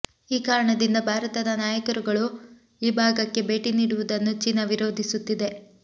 ಈ ಕಾರಣದಿಂದ ಭಾರತದ ನಾಯಕರುಗಳು ಈ ಭಾಗಕ್ಕೆ ಭೇಟಿ ನೀಡುವುದನ್ನು ಚೀನಾ ವಿರೋಧಿಸುತ್ತಿದೆ